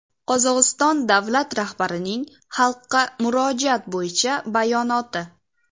Qozog‘iston davlat rahbarining Xalqqa murojaat bo‘yicha bayonoti.